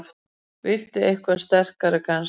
Viltu eitthvað sterkara kannski?